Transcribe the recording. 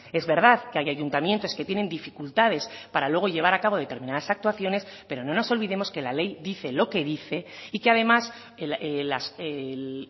es verdad que hay ayuntamientos que tienen dificultades para luego llevar a cabo determinadas actuaciones pero no nos olvidemos que la ley dice lo que dice y que además el